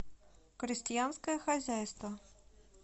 крестьянское хозяйство